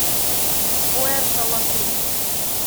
пуэрто ла крус